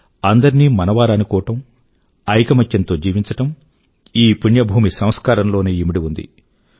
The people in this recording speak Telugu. అందరినీ మనవారు అనుకోవడం ఐకమత్యం తో జీవించడం ఈ పుణ్యభూమి సంస్కారంలోనే ఇమిడి ఉంది